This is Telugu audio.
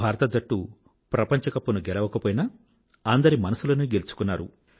భారత జట్టు ప్రపంచ కప్ ను గెలవలేకపోయినా అందరి మనసులనీ గెలుచుకున్నారు